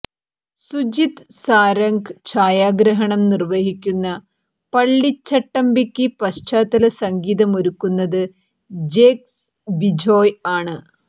സുജിത് സാരംഗ് ഛായാഗ്രഹണം നിര്വ്വഹിക്കുന്ന പള്ളിച്ചട്ടമ്പിക്ക് പശ്ചാത്തല സംഗീതമൊരുക്കുന്നത് ജേക്ക്സ് ബിജോയ് ആണ്